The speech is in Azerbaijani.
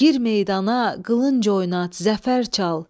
Gir meydana qılınc oynat, zəfər çal.